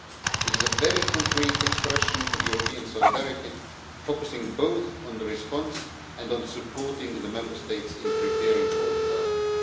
It is a very concrete expression of European solidarity, focusing both on the response and on supporting the Member States in preparing for disaster.